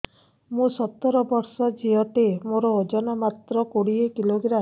ମୁଁ ସତର ବର୍ଷ ଝିଅ ଟେ ମୋର ଓଜନ ମାତ୍ର କୋଡ଼ିଏ କିଲୋଗ୍ରାମ